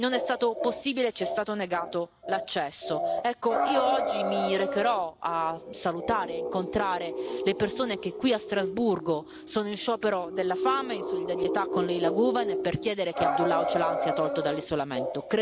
Non è stato possibile e ci è stato negato l'accesso. Oggi mi recherò a salutare e incontrare le persone che qui a Strasburgo sono in sciopero della fame in solidarietà con Leyla Guven e per chiedere che Abdullah Öcalan sia tolto dall'isolamento.